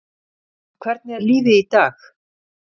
En hvernig er lífið í dag?